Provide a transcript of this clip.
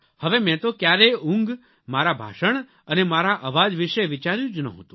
હવે મેં તો ક્યારેય ઊંઘ મારા ભાષણ અને મારા અવાજ વિશે વિચાર્યું જ નહોતું